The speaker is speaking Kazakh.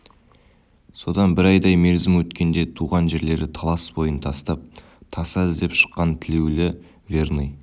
содан бір айдай мерзім өткенде туған жерлері талас бойын тастап таса іздеп шыққан тілеулі верный